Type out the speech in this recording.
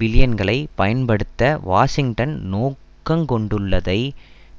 பில்லியன்களை பயன்படுத்த வாஷிங்டன் நோக்கங்கொண்டுள்ளதை